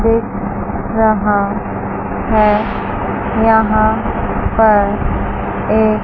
दिख रहा है यहां पर एक--